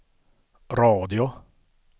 radio